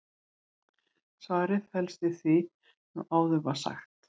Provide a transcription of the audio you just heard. svarið felst í því sem áður var sagt